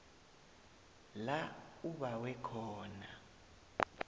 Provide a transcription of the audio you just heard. la ubawe khona